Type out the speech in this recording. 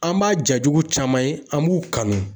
An b'a ja jugu caman ye, an b'u kanu.